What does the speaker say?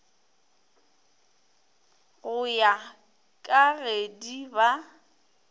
go ya ka gedi ba